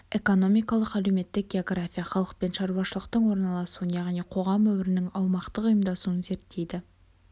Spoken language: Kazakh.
экономикалық-әлеуметтік география халық пен шарушылықтың орналасуын яғни қоғам өмірінің аумақтық ұйымдасуын зерттейді